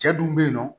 Cɛ dun bɛ yen nɔ